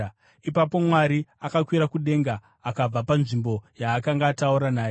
Ipapo Mwari akakwira kudenga akabva panzvimbo yaakanga ataura naye.